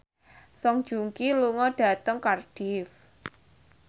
Song Joong Ki lunga dhateng Cardiff